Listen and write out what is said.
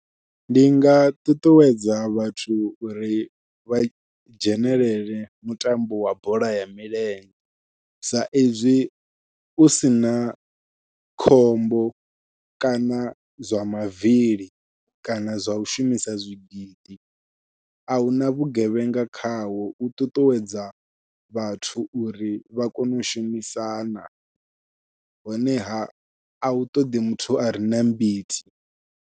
Ndi nga ṱuṱuwedza vhathu uri vha dzhenelele mutambo wa bola ya milenzhe, sa izwi u sina khombo kana zwa mavili kana zwa u shumisa zwigidi ahuna vhugevhenga khawo u ṱuṱuwedza vhathu uri vha kone u shumisana honeha ahu ṱoḓi muthu are na mbiti.